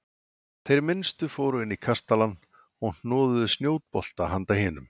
Þeir minnstu fóru inn í kastalann og hnoðuðu snjóbolta handa hinum.